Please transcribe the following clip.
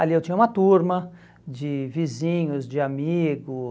Ali eu tinha uma turma de vizinhos, de amigos.